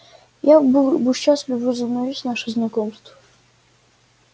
я был бы счастлив возобновить наше знакомство